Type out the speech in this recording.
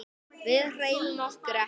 Við hreyfum okkur ekki.